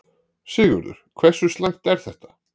Sigurður, hversu slæmt er þetta?